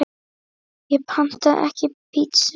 Ég pantaði ekki pítsu